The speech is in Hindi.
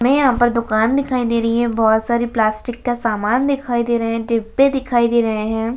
हमें यहाँ पर दुकान दिखाई दे रही है बहुत सारा समान दिखाई दे रहा है प्लास्टिक के डिब्बे दिखाई दे रहे हैं।